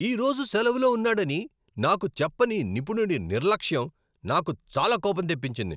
ఈ రోజు సెలవులో ఉన్నాడని నాకు చెప్పని నిపుణుడి నిర్లక్ష్యం నాకు చాలా కోపం తెప్పించింది.